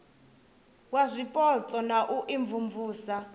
wa zwipotso na u imvumvusa